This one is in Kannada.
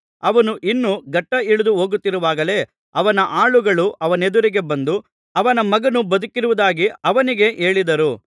ಅವನು ಇನ್ನೂ ಘಟ್ಟಾ ಇಳಿದು ಹೋಗುತ್ತಿರುವಾಗಲೇ ಅವನ ಆಳುಗಳು ಅವನೆದುರಿಗೆ ಬಂದು ಅವನ ಮಗನು ಬದುಕಿರುವುದಾಗಿ ಅವನಿಗೆ ಹೇಳಿದರು